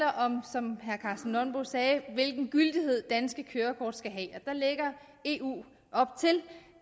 som herre karsten nonbo sagde hvilken gyldighed danske kørekort skal have der lægger eu op til